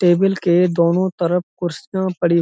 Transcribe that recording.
table के दोनों तरफ कुर्सियां पड़ी--